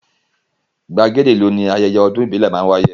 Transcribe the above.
Gbàgede ìlú ni ayẹyẹ ọdún ìbílẹ̀ ti máá ń wáyé